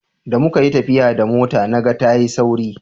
da muka yi tafiya da mota na ga ta yi sauri